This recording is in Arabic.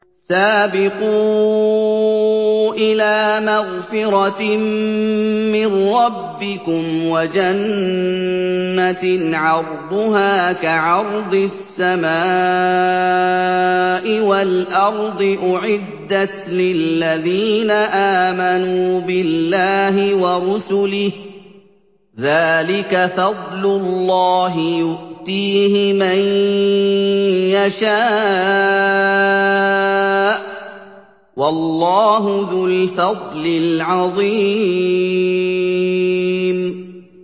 سَابِقُوا إِلَىٰ مَغْفِرَةٍ مِّن رَّبِّكُمْ وَجَنَّةٍ عَرْضُهَا كَعَرْضِ السَّمَاءِ وَالْأَرْضِ أُعِدَّتْ لِلَّذِينَ آمَنُوا بِاللَّهِ وَرُسُلِهِ ۚ ذَٰلِكَ فَضْلُ اللَّهِ يُؤْتِيهِ مَن يَشَاءُ ۚ وَاللَّهُ ذُو الْفَضْلِ الْعَظِيمِ